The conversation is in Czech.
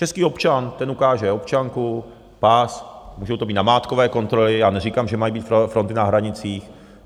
Český občan, ten ukáže občanku, pas, můžou to být namátkové kontroly, já neříkám, že mají být fronty na hranicích.